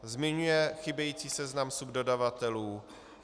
Zmiňuje chybějící seznam subdodavatelů.